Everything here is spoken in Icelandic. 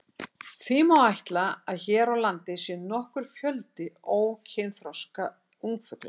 Því má ætla að hér á landi sé nokkur fjöldi ókynþroska ungfugla.